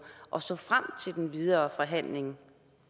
og så frem til den videre forhandling